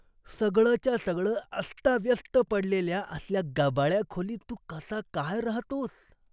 सगळंच्या सगळं अस्ताव्यस्त पडलेल्या असल्या गबाळ्या खोलीत तू कसा काय राहतोस?